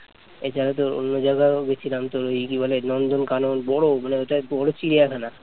এখানে তোর অন্য জায়গায় গিয়েছিলাম তোর কি বলে নন্দনকানন বড় মানে ওটা বড় চিড়িয়াখানা